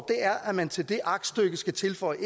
er at man til det aktstykke skal tilføje